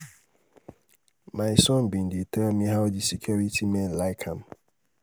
my son bin dey tell me how the security men like am.